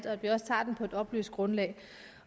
at vi også tager den på et oplyst grundlag